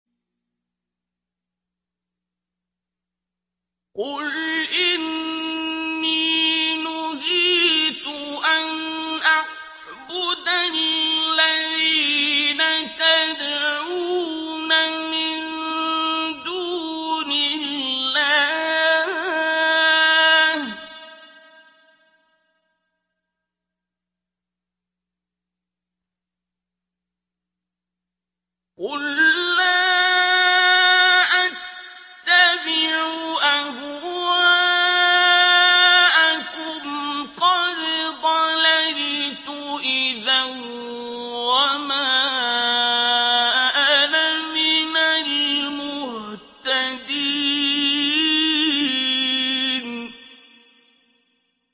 قُلْ إِنِّي نُهِيتُ أَنْ أَعْبُدَ الَّذِينَ تَدْعُونَ مِن دُونِ اللَّهِ ۚ قُل لَّا أَتَّبِعُ أَهْوَاءَكُمْ ۙ قَدْ ضَلَلْتُ إِذًا وَمَا أَنَا مِنَ الْمُهْتَدِينَ